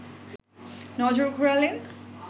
নজর ঘোরালেন